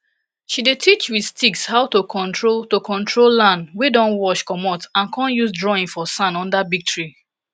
she dey teach wit sticks how to control to control land wey don wash comot and con use drawing for sand under big tree